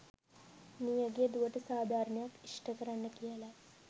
මියගිය දුවට සාධාරණයක් ඉෂ්ඨ කරන්න කියලයි.